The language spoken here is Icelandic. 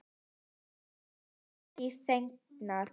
Og við erum því fegnar.